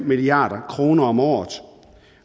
milliard kroner om året